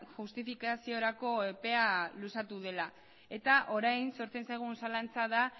justifikaziorako epea luzatu dela eta orain sortzen zaigun zalantza da